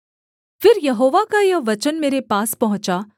फिर यहोवा का यह वचन मेरे पास पहुँचा